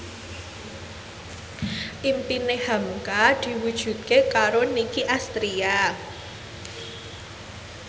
impine hamka diwujudke karo Nicky Astria